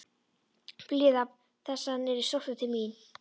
Bíða þess að hann yrði sóttur til mín?